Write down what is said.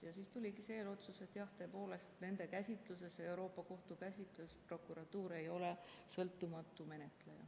Ja siis tuligi see eelotsus, et jah, tõepoolest, Euroopa Liidu Kohtu käsitluses prokuratuur ei ole sõltumatu menetleja.